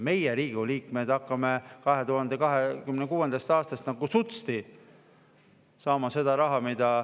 Meie, Riigikogu liikmed, hakkame 2026. aastast nagu sutsti saama seda raha.